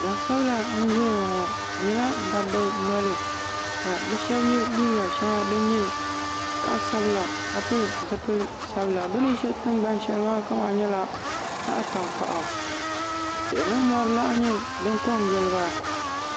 Gbansabla n ʒɛya ŋɔ bɛ nyɛla dabba noli ka bɛ sheba ye liiga sheŋa di nyɛ zaɣa sabila ka bɛ pili zipil'sabila bɛ ni be tingbani sheli zuɣu maa nyɛla zaɣa tankpaɣu tihi ni mori laha nyɛ din kongili ba.